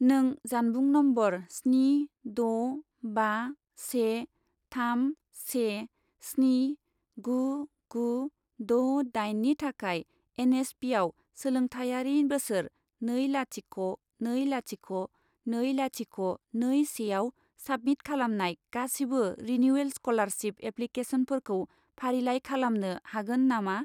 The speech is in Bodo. नों जानबुं नम्बर स्नि द' बा से थाम से स्नि गु गु द' दाइन नि थाखाय एन.एस.पि.आव सोलोंथायारि बोसोर नै लाथिख' नै लाथिख' नै लाथिख' नै से आव साबमिट खालामनाय गासिबो रिनिउयेल स्क'लारशिप एप्लिकेसनफोरखौ फारिलाइ खालामनो हागोन नामा?